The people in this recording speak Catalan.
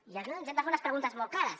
i ens hem de fer unes preguntes molt clares